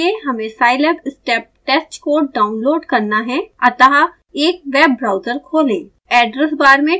शुरू करने के लिए हमें scilab step test code download करना है अतः एक वेब ब्राउज़र खोलें